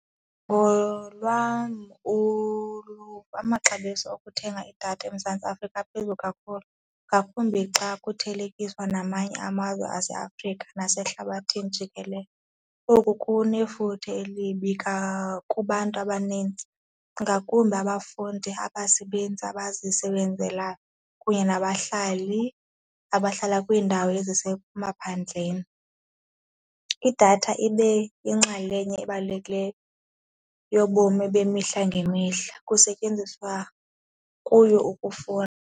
Ngolwam uluvo, amaxabiso okuthenga idatha eMzantsi Afrika aphezulu kakhulu ngakumbi xa kuthelekiswa namanye amazwe aseAfrika nasehlabathini jikelele. Oku kunefuthe elibi kubantu abanintsi ngakumbi abafundi, abasebenzi abazisebenzelayo kunye nabahlali abahlala kwiindawo ezisemaphandleni. Idatha ibe yinxalenye ebalulekileyo yobomi bemihla ngemihla kusetyenziswa kuyo .